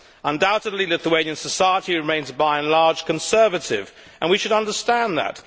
Undoubtedly, Lithuanian society remains, by and large, conservative and we should understand that.